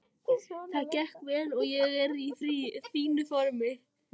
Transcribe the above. Það gekk vel og ég er í fínu formi.